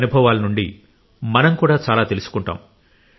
వారి అనుభవాల నుండి మనం కూడా చాలా తెలుసుకుంటాం